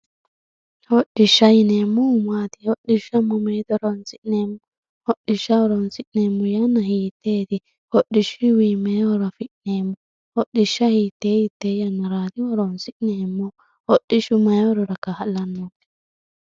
hodhishsha yineemohu maati hodhishsha mamoote horonsi'nanni hodhishsha horonsineemo yanna hiiteeti hodhishshuyiwii mayii horo afi'neemo hodhishsha hitee hitee yannaraati horonsi'neemohu hodhishshu mayii horora ka'laanno